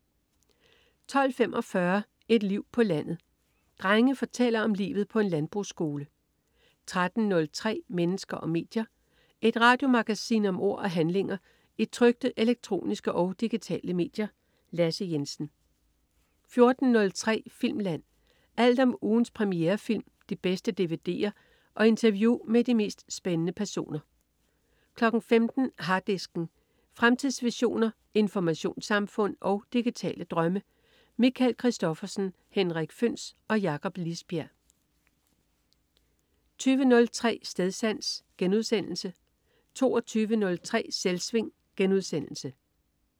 12.45 Et liv på landet. Drenge fortæller om livet på en landbrugsskole 13.03 Mennesker og medier. Et radiomagasin om ord og handlinger i trykte, elektroniske og digitale medier. Lasse Jensen 14.03 Filmland. Alt om ugens premierefilm, de bedste dvd'er og interview med de mest spændende personer 15.00 Harddisken. Fremtidsvisioner, informationssamfund og digitale drømme. Michael Christophersen, Henrik Føhns og Jakob Lisbjerg 20.03 Stedsans* 22.03 Selvsving*